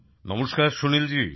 নমস্কার সুনীলজি